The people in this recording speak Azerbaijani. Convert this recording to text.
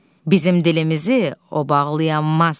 Bizim dilimizi o bağlayammaz.